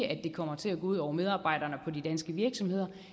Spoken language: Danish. at det kommer til at gå ud over medarbejderne på de danske virksomheder